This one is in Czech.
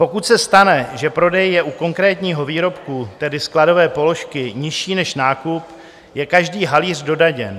Pokud se stane, že prodej je u konkrétního výrobku, tedy skladové položky, nižší než nákup, je každý halíř dodaněn.